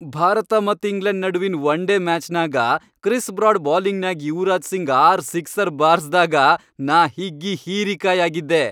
ಭಾರತ ಮತ್ ಇಂಗ್ಲೆಂಡ್ ನಡುವಿನ್ one day ಮ್ಯಾಚ್ನ್ಯಾಗ ಕ್ರಿಸ್ ಬ್ರಾಡ್ ಬೌಲಿಂಗ್ನ್ಯಾಗ್ ಯುವರಾಜ್ ಸಿಂಗ್ ಆರ್ ಸಿಕ್ಸರ್ ಬಾರಸ್ದಾಗ ನಾ ಹಿಗ್ಗಿ ಹೀರಿಕಾಯ್ ಆಗಿದ್ದೆ.